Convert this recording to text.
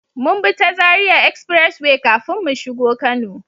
Mun bi ta zaria Express way kafin mu shigo kano